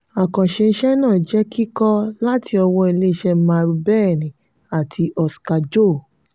àkànṣe iṣẹ náà jẹ kikọ láti ọwọ ilé iṣé marubeni àti oska-jo.